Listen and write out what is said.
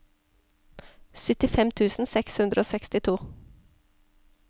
syttifem tusen seks hundre og sekstito